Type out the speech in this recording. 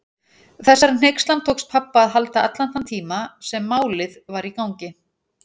Þessari hneykslan tókst pabba að halda allan þann tíma sem Málið var í gangi.